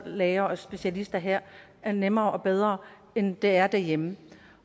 læger og specialister her er nemmere og bedre end det er derhjemme